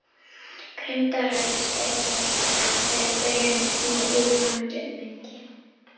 Grimmdaræði styrjaldarinnar þegar í byrjun í algleymingi.